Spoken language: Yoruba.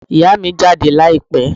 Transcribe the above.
Ìyá mi jáde láìpẹ́